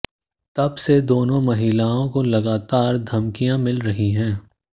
तब से दोनों महिलाओं को लगातार धमकियां मिल रही हैं